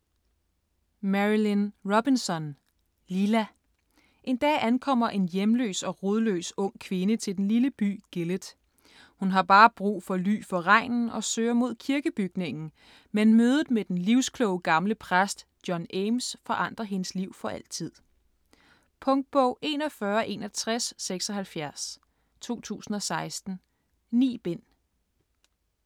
Robinson, Marilynne: Lila En dag ankommer en hjemløs og rodløs ung kvinde til den lille by Gilead. Hun har bare brug for ly for regnen og søger mod kirkebygningen, men mødet med den livskloge gamle præst John Ames forandrer hendes liv for altid. Punktbog 416176 2016. 9 bind.